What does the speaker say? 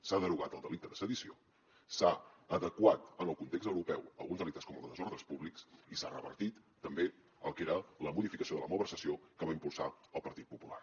s’ha derogat el delicte de sedició s’han adequat en el context europeu alguns delictes com el de desordres públics i s’ha revertit també el que era la modificació de la malversació que va impulsar el partit popular